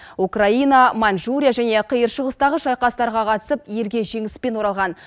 украина манчжурия және қиыр шығыстағы шайқастарға қатысып елге жеңіспен оралған